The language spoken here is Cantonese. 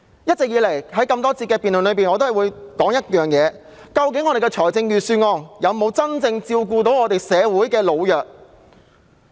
一直以來，我在各個環節的發言中均會提到，究竟預算案有否真正照顧社會上的老弱人士？